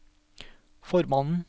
formannen